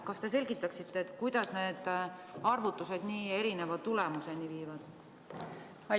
Kas te selgitaksite, kuidas need arvutused nii erineva tulemuseni viivad?